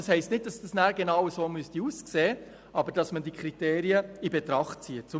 Das heisst nicht, dass es danach genauso aussehen müsste, aber dass man diese Kriterien in Betracht zieht.